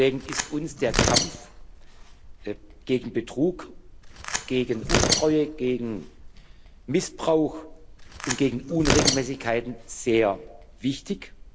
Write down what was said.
Deswegen ist uns der Kampf gegen Betrug, gegen Untreue, gegen Missbrauch und gegen Unregelmäßigkeiten sehr wichtig.